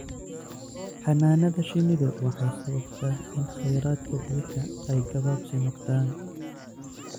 Xannaanada shinnidu waxay sababtaa in kheyraadka biyaha ay gabaabsi noqdaan.